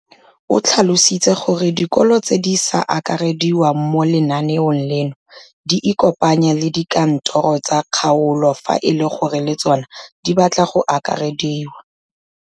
O tlhalositse gore dikolo tse di sa akarediwang mo lenaaneng leno di ikopanye le dikantoro tsa kgaolo fa e le gore le tsona di batla go akarediwa.